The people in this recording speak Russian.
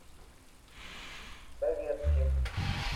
советским